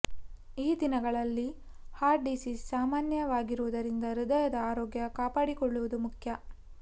ಈ ದಿನಗಳಲ್ಲಿ heart disease ಸಾಮಾನ್ಯವಾಗಿರುವುದರಿಂದ ಹೃದಯದ ಆರೋಗ್ಯ ಕಾಪಾಡಿಕೊಳ್ಳುವುದ ಮುಖ್ಯ